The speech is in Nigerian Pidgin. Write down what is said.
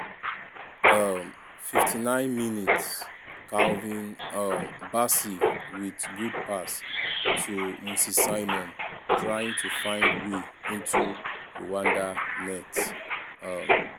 um 59mins- calvin um bassey wit good pass to moses simon trying to find way into rwanda net. um